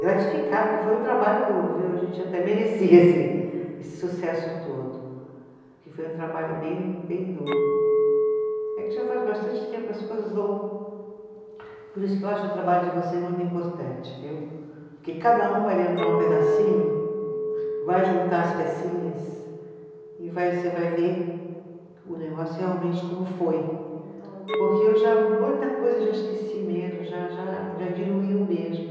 Gratificado, porque foi um trabalho duro viu, a gente até merecia esse esse sucesso todo, porque foi um trabalho bem bem duro, é que já faz bastante tempo as coisas vão, por isso que eu acho o trabalho de vocês muito importante viu, porque cada um vai lembrar um pedacinho, vai juntar as pecinhas e vai, você vai ver o negócio realmente como foi. Como um todo né. Porque eu já, muita coisa eu já esqueci mesmo, já já, já diluiu mesmo